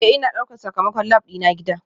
Ee, Ina ɗaukar sakamakon lab dina gida